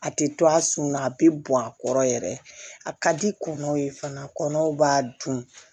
A tɛ to a sun na a bɛ bɔn a kɔrɔ yɛrɛ a ka di kundow ye fana kɔnɔw b'a dun